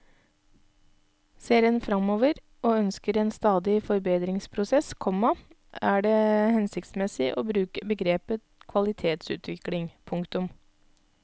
Ser en fremover og ønsker en stadig forbedringsprosess, komma er det hensiktsmessig å bruke begrepet kvalitetsutvikling. punktum